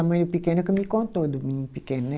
A mãe do pequeno é que me contou do menino pequeno, né?